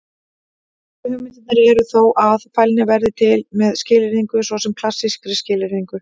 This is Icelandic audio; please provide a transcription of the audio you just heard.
Helstu hugmyndirnar eru þó að: Fælni verði til með skilyrðingu, svo sem klassískri skilyrðingu.